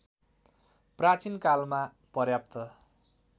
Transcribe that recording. प्राचीन कालमा पर्याप्त